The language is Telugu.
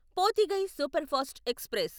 Pothigai superfast express